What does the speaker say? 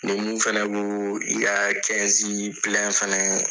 Ni mun fɛnɛ ko i ka fɛnɛ